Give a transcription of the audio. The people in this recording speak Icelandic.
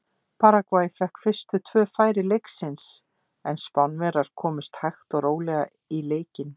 Paragvæ fékk fyrstu tvö færi leiksins en Spánverjar komust hægt og rólega í leikinn.